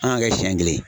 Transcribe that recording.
An k'an kɛ siɲɛ kelen